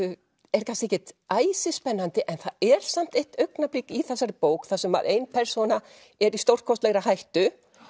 er kannski ekkert æsispennandi en það er samt eitt augnablik í þessari bók þar sem ein persóna er í stórkostlegri hættu